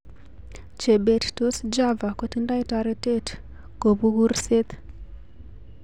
Chebet tos Java kotindoi toretet kobu kurset